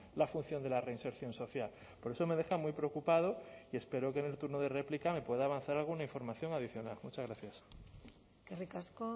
la función de la reinserción social por eso me deja muy preocupado y espero que en el turno de réplica me puede avanzar alguna información adicional muchas gracias eskerrik asko